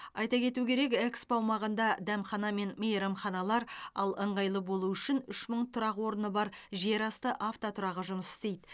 айта кету керек экспо аумағында дәмхана мен мейрамханалар ал ыңғайлы болу үшін үш мың тұрақ орны бар жерасты автотұрағы жұмыс істейді